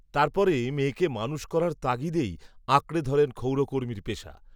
তার পরে মেয়েকে মানুষ করার তাগিদেই, আঁকড়ে ধরেন, ক্ষৌরকর্মীর পেশা